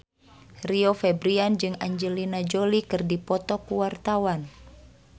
Rio Febrian jeung Angelina Jolie keur dipoto ku wartawan